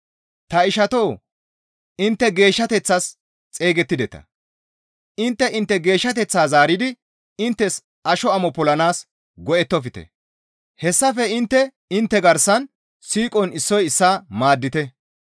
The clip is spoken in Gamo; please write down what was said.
Ta ishatoo! Intte geeshshateththas xeygettideta; intte intte geeshshateththaa zaaridi inttes asho amo polanaas go7ettofte; hessafe intte intte garsan siiqon issoy issaa maaddite.